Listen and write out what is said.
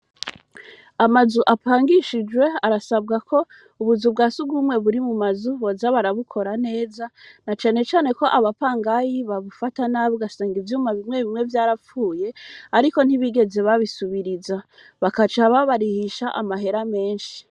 Amazu apangishijwe arasabwa ko ubuzu bwa si ugumwe buri mu mazu boza barabukora neza na canecane ko abapangayi babufata nabwe asanga ivyuma bimwe bimwe vyarapfuye, ariko ntibigeze babisubiriza bakacaba barihisha amahera menshi.